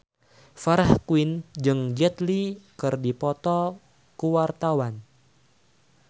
Farah Quinn jeung Jet Li keur dipoto ku wartawan